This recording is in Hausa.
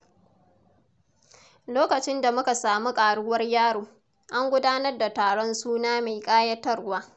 Lokacin da muka samu ƙaruwar yaro, an gudanar da taron suna mai kayatarwa.